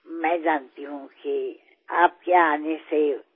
কাৰণ মই দেখিছো জানিছো যে আপুনি কিমান ব্যস্ত আৰু আপোনাৰ কিমান কাম থাকে